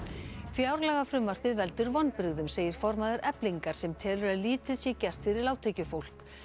fjárlagafrumvarpið veldur vonbrigðum segir formaður Eflingar sem telur að lítið sé gert fyrir lágtekjufólk